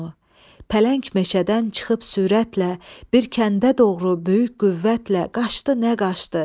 Pələng meşədən çıxıb sürətlə bir kəndə doğru böyük qüvvətlə qaçdı nə qaçdı.